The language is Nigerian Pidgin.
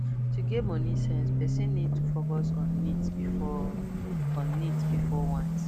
to get money sense person need to focus on needs before on needs before wants